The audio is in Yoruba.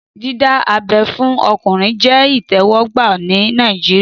Dídá abẹ́ fún ọkùnrin jẹ́ ìtẹ́wọ́gbà ní Nàìjíríyà